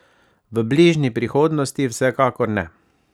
V bližnji prihodnosti vsekakor ne.